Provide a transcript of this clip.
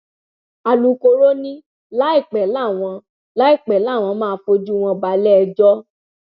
alūkkóró ni láìpẹ làwọn láìpẹ làwọn máa fojú wọn balẹẹjọ